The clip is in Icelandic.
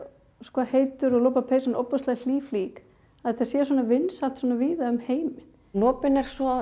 er heitur og lopapeysan ofboðslega hlý flík að þetta sé svona vinsælt víða um heim en lopinn er svo